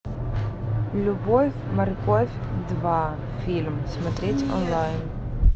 любовь морковь два фильм смотреть онлайн